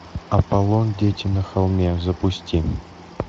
аполлон дети на холме запусти